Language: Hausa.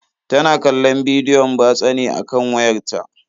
Tana kallon bidiyon batsa ne a kan wayarta.